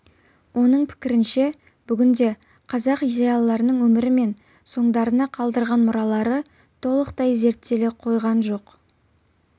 оның пікірінше бүгінде қазақ зиялыларының өмірі мен соңдарына қалдырған мұралары толықтай зерттеле қойған жоқ